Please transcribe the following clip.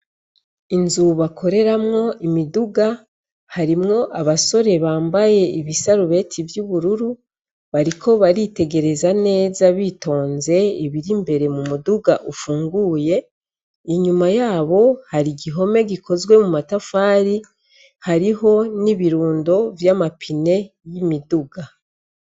Inzu bakoreramwo imiduga, harimwo abasore bambaye ibisarubeti vy'ubururu. Bariko baritegereza neza bitonze ibir'imbere mu muduga ufunguye. Inyuma y'abo, har'igihome gikozwe mu matafari. Hariho n'ibirundo vy'amapine y'imiduga.